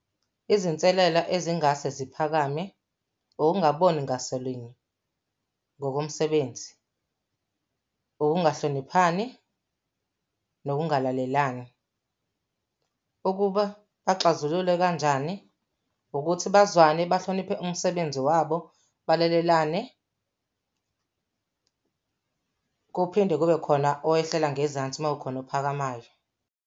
Izinselela ezingase ziphakame ukungaboni ngaso linye ngokomsebenzi, ukungahloniphani, nokungalalelani. Ukuba axazulule kanjani ukuthi, bazwane bahloniphe umsebenzi wabo, balalelane kuphinde kube khona owehlela ngezansi uma kukhona ophakamayo.